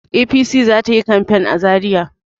APC za ta yi kamfen za Zariya.